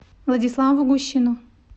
владиславу гущину